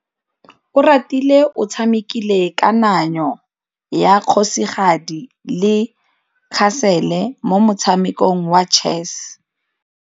Oratile o tshamekile kananyô ya kgosigadi le khasêlê mo motshamekong wa chess.